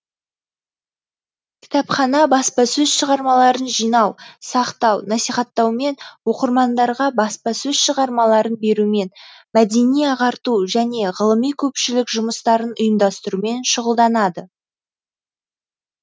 кітапхана баспасөз шығармаларын жинау сақтау насихаттаумен оқырмандарға баспасөз шығармаларын берумен мәдени ағарту және ғылыми көпшілік жұмыстарын ұйымдастырумен шұғылданады